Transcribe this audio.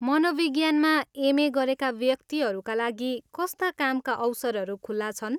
मनोविज्ञानमा MA. गरेका व्यक्तिहरूका लागि कस्ता कामका अवसरहरू खुला छन्?